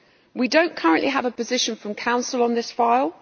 We do not currently have a position from Council on this file.